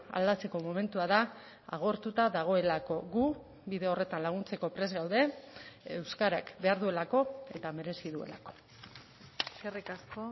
aldatzeko momentua da agortuta dagoelako gu bide horretan laguntzeko prest gaude euskarak behar duelako eta merezi duelako eskerrik asko